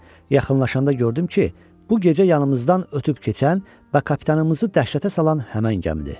Yaxınlaşanda gördüm ki, bu gecə yanımızdan ötüb keçən və kapitanımızı dəhşətə salan həmin gəmidir.